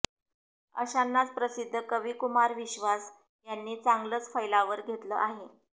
अशानांच प्रसिद्ध कवी कुमार विश्वास यांनी चांगलंच फैलावर घेतलं आहे